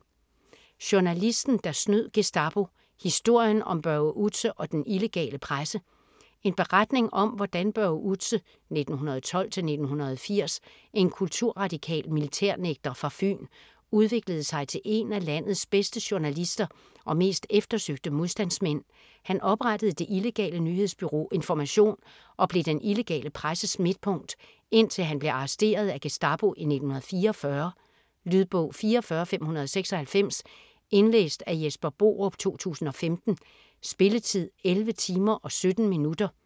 Journalisten der snød Gestapo: historien om Børge Outze og den illegale presse En beretning om hvordan Børge Outze (1912-1980), en kulturradikal militærnægter fra Fyn, udviklede sig til en af landets bedste journalister og mest eftersøgte modstandsmænd. Han oprettede det illegale nyhedsbureau Information og blev den illegale presses midtpunkt, indtil han blev arresteret af Gestapo i 1944. Lydbog 44596 Indlæst af Jesper Borup, 2015. Spilletid: 11 timer, 17 minutter.